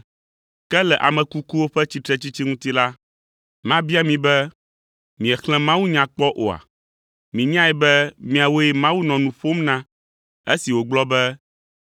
Ke le ame kukuwo ƒe tsitretsitsi ŋuti la, mabia mi be miexlẽ mawunya kpɔ oa? Mienyae be miawoe Mawu nɔ nu ƒom na esi wògblɔ be,